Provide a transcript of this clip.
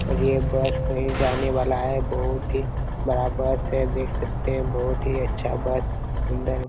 और ये बस कही जाने वाला हैं बहुत ही बड़ा बस हैं देख सकते हैं बहुत ही अच्छा बस एक दम